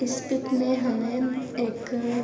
اس pic مے ہمیں ایک--